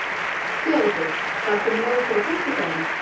Theódór, ferð þú með okkur á föstudaginn?